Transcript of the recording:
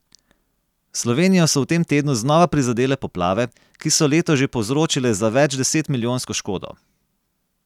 Slovenijo so v tem tednu znova prizadele poplave, ki so letos že povzročile za večdesetmilijonsko škodo.